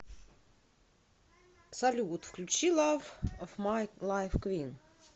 салют включи лав оф май лайф куин